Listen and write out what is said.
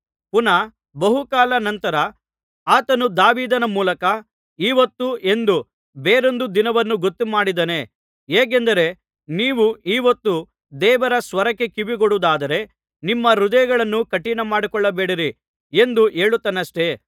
ಪುನಃ ಬಹುಕಾಲದ ನಂತರ ಆತನು ದಾವೀದನ ಮೂಲಕ ಈ ಹೊತ್ತೇ ಎಂದು ಬೇರೊಂದು ದಿನವನ್ನು ಗೊತ್ತುಮಾಡಿದ್ದಾನೆ ಹೇಗೆಂದರೆ ನೀವು ಈ ಹೊತ್ತು ದೇವರ ಸ್ವರಕ್ಕೆ ಕಿವಿಗೊಡುವುದಾದರೆ ನಿಮ್ಮ ಹೃದಯಗಳನ್ನು ಕಠಿಣ ಮಾಡಿಕೊಳ್ಳಬೇಡಿರಿ ಎಂದು ಹೇಳುತ್ತಾನಷ್ಟೆ